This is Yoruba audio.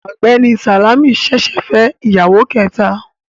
Ọ̀gbẹ́ni Sàlámì ṣẹ̀ṣẹ̀ fẹ́ ìyàwó kẹta